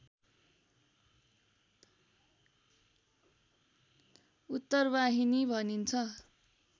उत्तरवाहिनी भनिन्छ